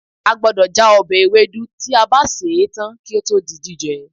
A gbọdọ̀ já ọbẹ̀ ewédú tí a bá sè é tán kí ó tó di jíjẹ